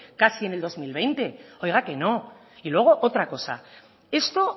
casi en el dos mil veinte oiga que no y luego otra cosa esto